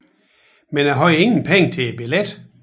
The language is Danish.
Men jeg hadde ingen Penger til Billetten